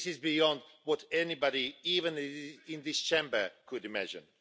This is beyond what anybody even in this Chamber could imagine.